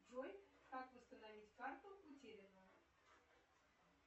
джой как восстановить карту утерянную